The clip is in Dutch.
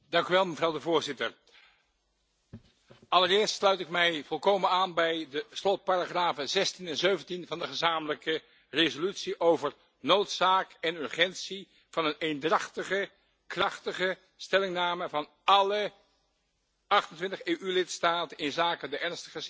Allereerst sluit ik mij volkomen aan bij de slotparagrafen 16 en 17 van de gezamenlijke resolutie over de noodzaak en urgentie van een eendrachtige, krachtige stellingname van alle 28 EU lidstaten inzake de ernstige situatie van de mensenrechten in China.